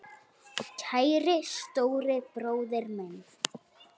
Kæri stóri bróðir minn.